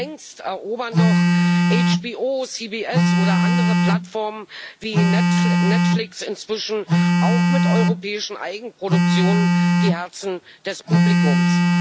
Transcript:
Längst erobern doch HBO CBS oder andere Plattformen wie Netflix inzwischen auch mit europäischen Eigenproduktionen die Herzen des Publikums.